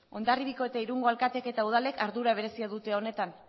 hondarribiko eta irungo alkateek eta udalek ardura berezia dute honetan